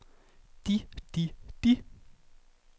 de de de